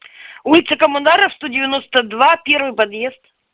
улица коммунаров сто девяносто два первый подъезд